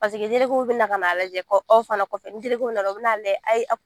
bɛ na k'a lajɛ ka aw fana kɔfɛ ni nana u bɛ na a lajɛ ayi